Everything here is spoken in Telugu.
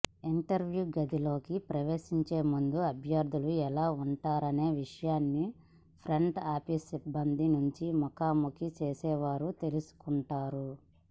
ఇంటర్వ్యూ గదిలోకి ప్రవేశించే ముందు అభ్యర్థులు ఎలా ఉన్నారనే విషయాన్ని ఫ్రంట్ ఆఫీస్ సిబ్బంది నుంచి ముఖాముఖి చేసేవారు తెలుసుకుంటారు